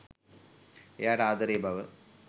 එයාට ආදරේ බව.